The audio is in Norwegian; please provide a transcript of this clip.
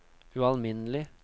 ualminnelig